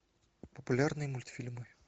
популярные мультфильмы